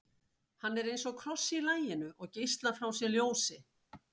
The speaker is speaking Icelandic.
hann er eins og kross í laginu og geislar frá sér ljósi